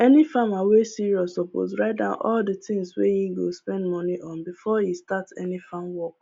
any farmer wey serious suppose write down all the things wey e go spend money on before e start any farm work